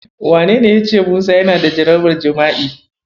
Wanene yace Musa yana da jarabar jima'i?